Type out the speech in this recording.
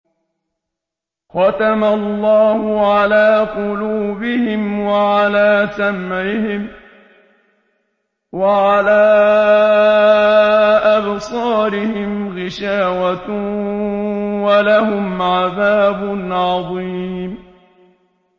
خَتَمَ اللَّهُ عَلَىٰ قُلُوبِهِمْ وَعَلَىٰ سَمْعِهِمْ ۖ وَعَلَىٰ أَبْصَارِهِمْ غِشَاوَةٌ ۖ وَلَهُمْ عَذَابٌ عَظِيمٌ